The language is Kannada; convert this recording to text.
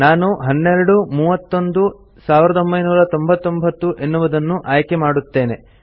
ನಾನು 12 31 1999 ಎನ್ನುವುದನ್ನು ಆಯ್ಕೆಮಾಡುತ್ತೇನೆ